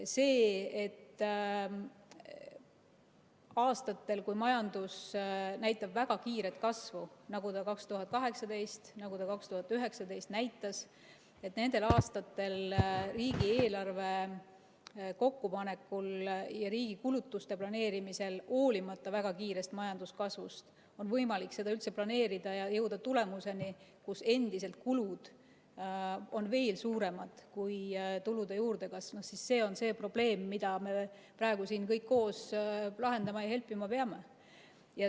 See, et aastatel, kui majandus näitab väga kiiret kasvu, nagu ta 2018 ja 2019 näitas, riigieelarve kokkupanekul ja riigi kulutuste planeerimisel on väga kiirest majanduskasvust hoolimata võimalik seda üldse planeerida nii ja jõuda tulemusele, kus endiselt on kulud veel suuremad kui tulude juurdekasv, on see probleem, mida me praegu siin kõik koos lahendama ja helpima peame.